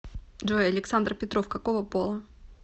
джой александр петров какого пола